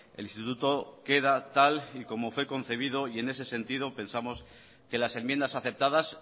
el instituto queda tal y como fue concebido y en ese sentido pensamos que las enmiendas aceptadas